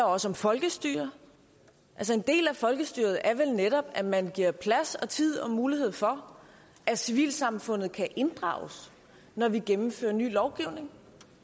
også om folkestyret en del af folkestyret er vel netop at man giver plads og tid og mulighed for at civilsamfundet kan inddrages når vi gennemfører ny lovgivning